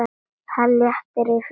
Það léttir yfir henni.